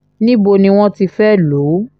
níbo ni wọ́n ti fẹ́ẹ́ lò ó